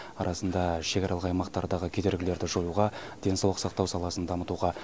арасында шекаралық аймақтардағы кедергілерді жоюға денсаулық сақтау саласын дамытуға